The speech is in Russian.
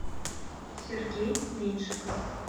сергей меньшиков